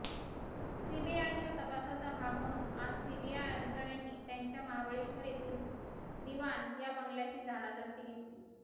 सीबीआयच्या तपासाचा भाग म्हणून आज सीबीआय अधिकाऱ्यांनी त्यांच्या महाबळेश्वर येथील दिवान या बंगल्याची झाडाझडती घेतली